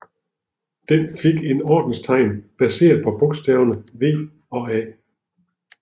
Den fik et ordenstegn baseret på bogstaverne V og A